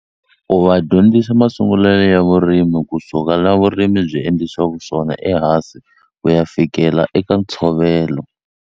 Ku va dyondzisa masungulo ya vurimi kusuka la vurimi byi endlisiwaku swona ehansi ku ya fikela eka ntshovelo.